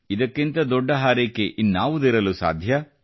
ಇದಕ್ಕಿಂತ ದೊಡ್ಡ ಹಾರೈಕೆ ಇನ್ನಾವುದಿರಲು ಸಾಧ್ಯ